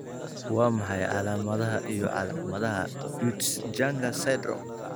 Waa maxay calaamadaha iyo calaamadaha Peutz Jeghers syndrome?